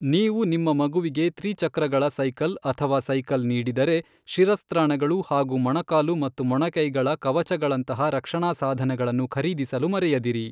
ನೀವು ನಿಮ್ಮ ಮಗುವಿಗೆ ತ್ರಿಚಕ್ರಗಳ ಸೈಕಲ್ ಅಥವಾ ಸೈಕಲ್ ನೀಡಿದರೆ, ಶಿರಸ್ತ್ರಾಣಗಳು ಹಾಗೂ ಮೊಣಕಾಲು ಮತ್ತು ಮೊಣಕೈಗಳ ಕವಚಗಳಂತಹ ರಕ್ಷಣಾ ಸಾಧನಗಳನ್ನು ಖರೀದಿಸಲು ಮರೆಯದಿರಿ.